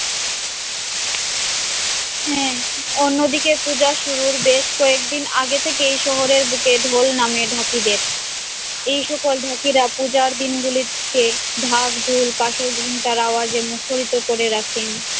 হ্যাঁ অন্যদিকে পূজা শুরুর বেশ কয়েকদিন আগে থেকেই শহরের বুকে ঢল নামে পাকিদের, এইসকল ঢাকিরা পূজার দিনগুলিকে ঢাক-ঢোল, কাঁসরঘন্টার আওয়াজে মুখরিত করে রাখেন।